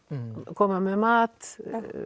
koma með mat